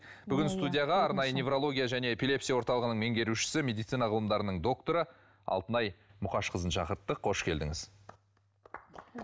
бүгін студияға арнайы неврология және эпилепсия орталығының меңгерушісі медицина ғылымдарының докторы алтынай мұқашқызын шақырттық қош келдіңіз